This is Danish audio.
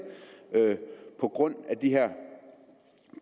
på grund